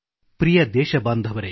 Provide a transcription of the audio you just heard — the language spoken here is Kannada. ಪ್ರಿಯದೇಶಬಾಂಧವರೆ